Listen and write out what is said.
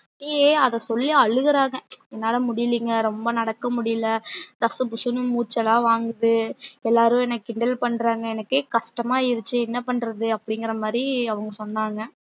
அங்கேயே அத சொல்லி அழுகுறாங்க என்னால முடிலங்கே ரொம்ப நடக்க முடில டஸ்புஸ்னு மூச்சுலா வாங்குது எல்லாரும் என்ன கிண்டல் பண்றாங்க எனக்கே கஷ்டம ஆயிருச்சி என்ன பண்றது அப்டின்க்குற மாறி அவங்க சொன்னாங்க